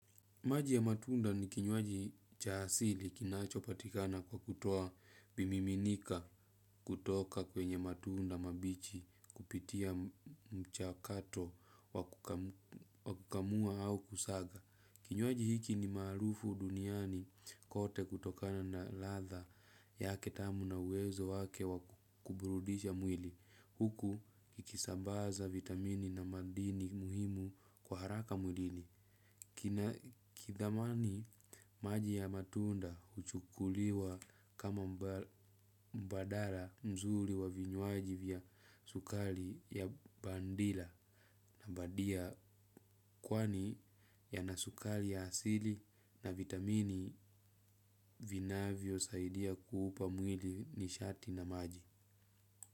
Maji ya matunda ni kinyuaji cha asili kinacho patikana kwa kutoa bimiminika kutoka kwenye matunda mabichi kupitia mchakato wakukamua au kusaga. Kinyuaji hiki ni maarufu duniani kote kutokana na ladha yaketl tamu na uwezo wake wakuburudisha mwili. Huku kikisambaza vitamini na madini muhimu kwa haraka mwili. Kina kithamani maji ya matunda huchukuliwa kama mbadara mzuri wa vinyuaji vya sukari ya bandila na mbadia kwani ya nasukari ya asili na vitamini vinavyo saidia kuupa mwili nishati na maji.